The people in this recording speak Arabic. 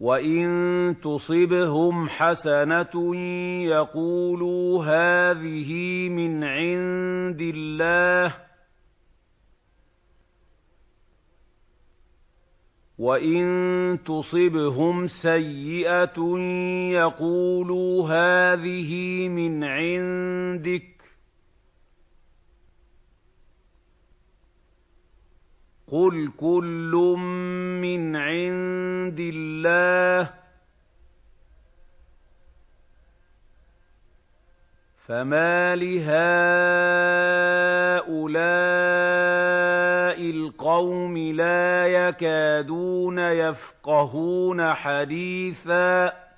وَإِن تُصِبْهُمْ حَسَنَةٌ يَقُولُوا هَٰذِهِ مِنْ عِندِ اللَّهِ ۖ وَإِن تُصِبْهُمْ سَيِّئَةٌ يَقُولُوا هَٰذِهِ مِنْ عِندِكَ ۚ قُلْ كُلٌّ مِّنْ عِندِ اللَّهِ ۖ فَمَالِ هَٰؤُلَاءِ الْقَوْمِ لَا يَكَادُونَ يَفْقَهُونَ حَدِيثًا